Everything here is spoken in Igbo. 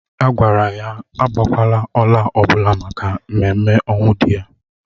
A gwara ya agbakwala ọla ọbụla maka ememme ọnwụ di ya